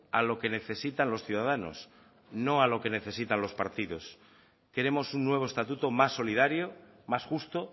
a lo que necesitan los ciudadanos no a lo que necesitan los partidos queremos un nuevo estatuto más solidario más justo